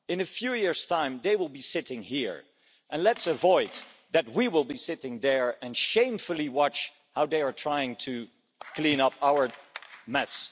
In a few years' time they will be sitting here and let's avoid that we will be sitting there and shamefully watching how they are trying to clean up our mess.